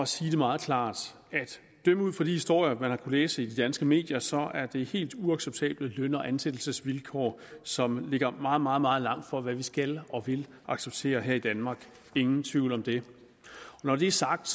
sige det meget klart at dømme ud fra de historier man har læse i de danske medier så er det helt uacceptable løn og ansættelsesvilkår som ligger meget meget meget langt fra hvad vi skal og vil acceptere her i danmark ingen tvivl om det når det er sagt